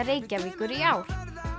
Reykjavíkur í ár